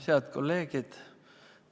Head kolleegid!